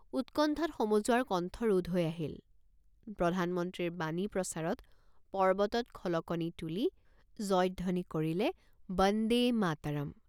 উৎকণ্ঠাত সমজুৱাৰ কণ্ঠৰোধ হৈ আহিল। প্ৰধানমন্ত্ৰীৰ বাণী প্ৰচাৰত পৰ্বতত খলকনি তুলি জয়ধ্বনি কৰিলে বন্দে মাতৰম্।